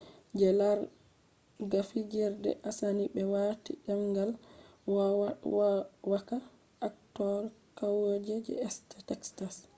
je larerga fijirde asani be wati dendal vowaka actors kauye je east texas